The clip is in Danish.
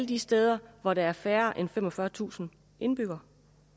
de steder hvor der er færre end femogfyrretusind indbyggere